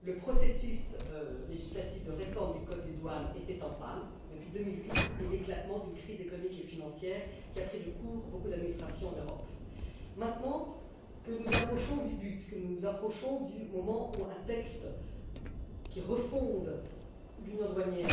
Le processus législatif de réforme du code des douanes était en panne depuis 2008 et l'éclatement de la crise économique et financière a pris de court beaucoup d'administrations en Europe. Maintenant que nous approchons du but, du moment où un texte qui refonde l'union douanière